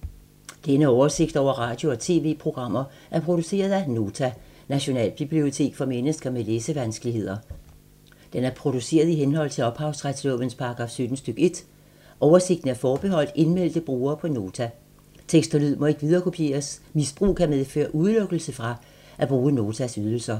Denne oversigt over radio og TV-programmer er produceret af Nota, Nationalbibliotek for mennesker med læsevanskeligheder. Den er produceret i henhold til ophavsretslovens paragraf 17 stk. 1. Oversigten er forbeholdt indmeldte brugere på Nota. Tekst og lyd må ikke viderekopieres. Misbrug kan medføre udelukkelse fra at bruge Notas ydelser.